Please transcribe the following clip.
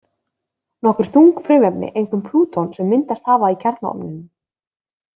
Nokkur þung frumefni, einkum plúton, sem hafa myndast í kjarnaofninum.